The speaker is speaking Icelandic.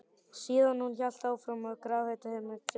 Síðan hélt hún í áttina að grafreit hinna kristnu.